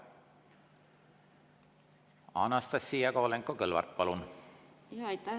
Anastassia Kovalenko-Kõlvart, palun!